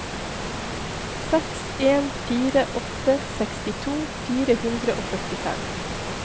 seks en fire åtte sekstito fire hundre og førtifem